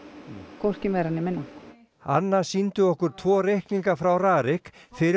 hvorki meira né minna Anna sýndi okkur tvo reikninga frá RARIK fyrir